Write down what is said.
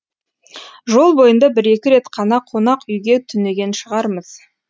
жол бойында бір екі рет қана қонақ үйге түнеген шығармыз